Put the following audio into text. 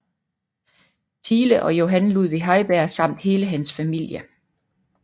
Thiele og Johan Ludvig Heiberg samt hele hans familie